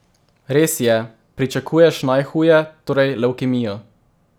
Res je, pričakuješ najhuje, torej levkemijo.